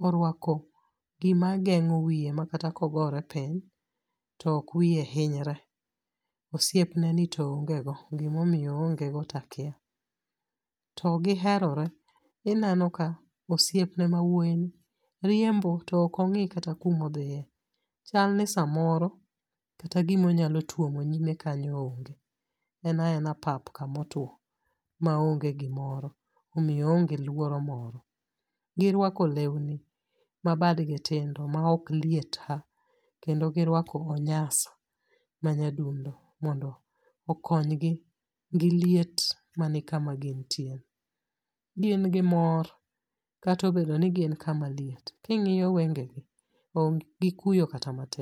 oruako gima geng'o wiye makata kogore piny, to ok wiye hinyre. Osepneni to ongego, gimomiyo oonge go takya. To giherore, ineno ka osiepne mawoini riembo, to okong'i kata kumodhie. Chalni samoro, kata gima onyalo tuomoni lee kanyo onge. Ena ena pap kamotuo maonge gimoro, omiyo oonge luoro moro. Giruako leuni mabadgi tindo maok liet ha, kendo giruako onyasa manyadundo, mondo okonygi gi liet mani kama gintieni. Gin gimor katobedoni gin kama liet. King'iyo wengegi onge gi kuyo kata matin.